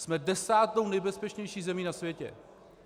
Jsme desátou nejbezpečnější zemí na světě.